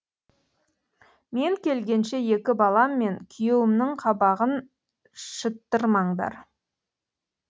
мен келгенше екі балам мен күйеуімнің қабағын шыттырмаңдар